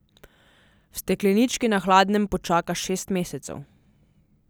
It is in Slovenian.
V steklenički na hladnem počaka šest mesecev.